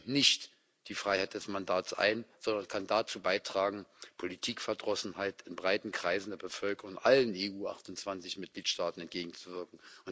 Es schränkt nicht die Freiheit des Mandats ein, sondern kann dazu beitragen, Politikverdrossenheit in breiten Kreisen der Bevölkerung in allen EU28 Mitgliedstaaten entgegenzuwirken.